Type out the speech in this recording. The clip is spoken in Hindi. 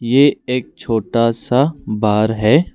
ये एक छोटा सा बार है।